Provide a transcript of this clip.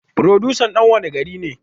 Furodusan dan wanne gari ne?